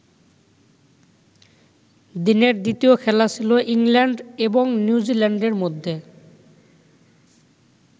দিনের দ্বিতীয় খেলা ছিল ইংল্যান্ড এবং নিউজিল্যান্ডের মধ্যে।